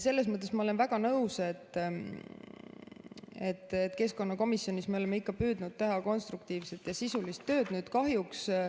Selles mõttes ma olen väga nõus, et keskkonnakomisjonis me oleme ikka püüdnud teha konstruktiivset ja sisulist tööd.